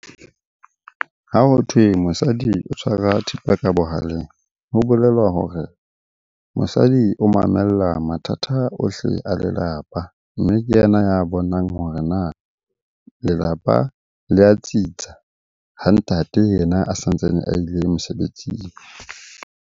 Ha hothwe mosadi o tshwara thipa ka bohaleng. Ho bolela hore mosadi o mamella mathata ohle a lelapa, mme ke yena ya bonang hore na lelapa le a tsitsa ha ntate yena a sa ntsane a ile mosebetsing.